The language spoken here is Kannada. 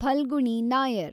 ಫಲ್ಗುಣಿ ನಾಯರ್